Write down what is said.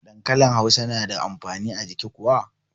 Dankanli hausa na da amfani a jiki kuwa?